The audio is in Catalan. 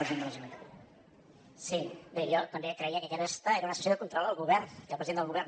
bé jo també creia que aquesta era una sessió de control al govern i al president del govern